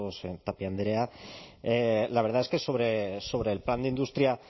tapia andrea la verdad es que sobre el plan de industria